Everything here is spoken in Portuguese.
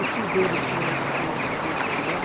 O tio dele tinha um apartamento no Rio de Janeiro.